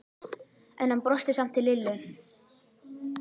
En hann brosti samt til Lillu.